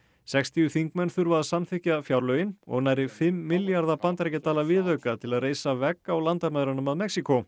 sextíu þingmenn þurfa að samþykkja fjárlögin og nærri fimm milljarða bandaríkjadala viðauka til að reisa vegg á landamærunum að Mexíkó